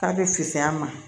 K'a bɛ fisaya a ma